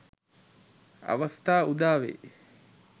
අවස්‌ථා උදා වෙයි.